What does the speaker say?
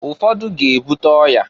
Ụfọdụ ga-ebuta ọya.